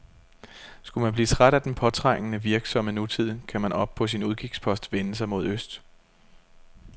Skulle man blive mæt af den påtrængende, virksomme nutid, kan man oppe på sin udkigspost vende sig mod øst.